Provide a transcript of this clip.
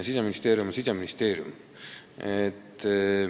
Siseministeerium on Siseministeerium.